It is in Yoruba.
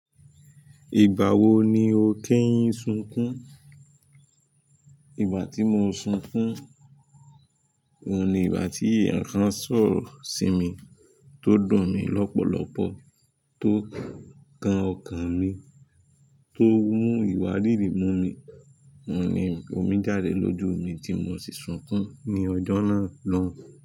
Ìgbà wo ni o kẹyìn sunkùn? Ìgbà tí mo sunkún, òun ni ìgbà tí èèyàn sọ̀rọ̀ sí mi tó dùn mí lọ́pọ̀lọ́pọ̀, tó kan ọkàn mi, tó mú ìwárìrì mu mi, òun ni omi jáde lójú mi tí mo sì sunkún ní ọjọ́ náà lọ́hùn-ún.